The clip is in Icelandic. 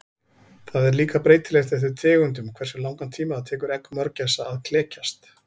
Það er líka breytilegt eftir tegundum hversu langan tíma það tekur egg mörgæsa að klekjast.